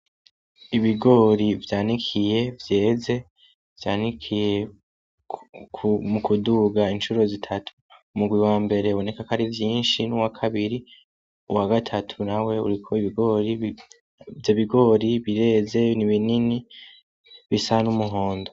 Ibigori vyanikiye vyeze, vyanikiye mu kuduga incuro zitatu, umugwi wambere uboneka ako ari vyinshi n'uwakabiri, uwagatatu nawe uriko ibigori, ivyo bigori bireze n'ibinini bisa n'umuhondo.